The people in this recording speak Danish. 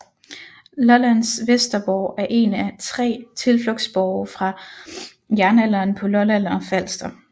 Lollands Vesterborg er en af 3 tilflugtsborge fra jernalderen på Lolland og Falster